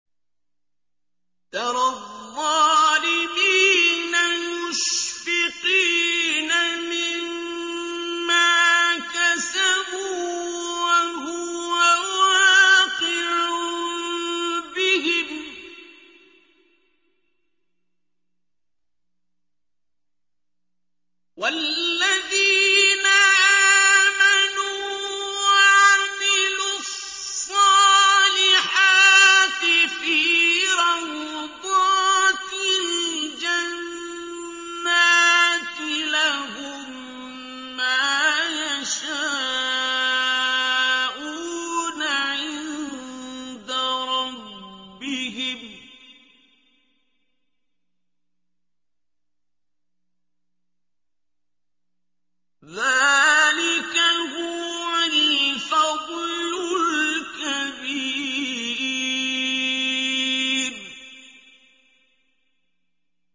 تَرَى الظَّالِمِينَ مُشْفِقِينَ مِمَّا كَسَبُوا وَهُوَ وَاقِعٌ بِهِمْ ۗ وَالَّذِينَ آمَنُوا وَعَمِلُوا الصَّالِحَاتِ فِي رَوْضَاتِ الْجَنَّاتِ ۖ لَهُم مَّا يَشَاءُونَ عِندَ رَبِّهِمْ ۚ ذَٰلِكَ هُوَ الْفَضْلُ الْكَبِيرُ